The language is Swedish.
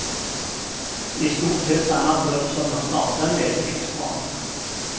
I stort sett samma trupp som han startade med finns kvar.